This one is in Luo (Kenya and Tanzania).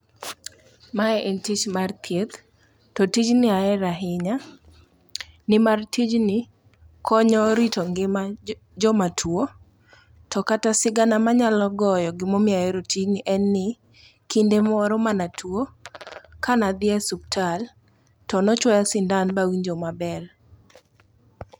Mae en tich mar thieth to tijni ahero ahinya, nimar tijni konyo rito ngima jomatuo, to kata sigana manyalo goyo gimomiyo ahero tijni en ni kinde moro manatuo kanadhi e suptal to nochwoya sindan bawinjo maber.